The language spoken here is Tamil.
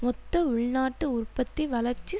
மொத்த உள்நாட்டு உற்பத்தி வளர்ச்சி